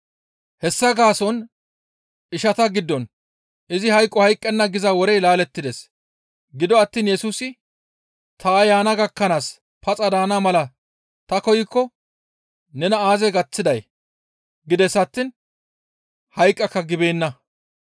Hessa gaason ishata giddon, «Izi hayqo hayqqenna» giza worey laalettides. Gido attiin Yesusi, «Ta yaana gakkanaas paxa daana mala ta koykko nena aazee gaththiday?» gides attiin, «Hayqqaka» gibeenna.